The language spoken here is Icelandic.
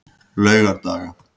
laugardaga